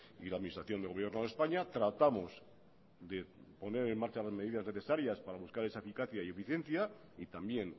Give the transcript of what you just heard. y la administración del gobierno de españa tratamos de poner en marcha las medidas necesarias para buscar esa eficacia y eficiencia y también